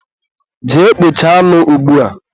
jee kpọchaa anụ ugbua!